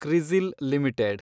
CRISIL limited